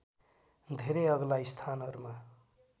धेरै अग्ला स्थानहरूमा